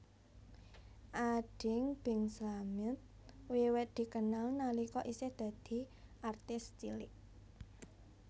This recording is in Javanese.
Ading Bing Slamet wiwit dikenal nalika isih dadi artis cilik